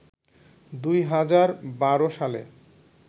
দুই হাজার বারো সালে